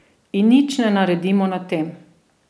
In nič ne naredimo na tem.